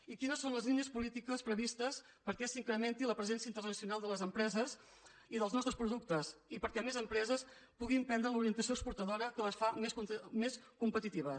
i quines són les línies polítiques previstes perquè s’incrementi la presència internacional de les empreses i dels nostres productes i perquè més empre ses puguin prendre l’orientació exportadora que les fa més competitives